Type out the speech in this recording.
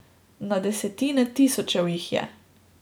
Na desetine tisočev jih je.